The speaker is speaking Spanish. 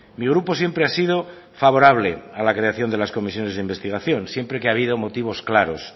mi grupo siempre ha sido favorable a la creación de las comisiones de investigación siempre que ha habido motivos claros